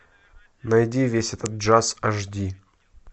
найди весь этот джаз аш ди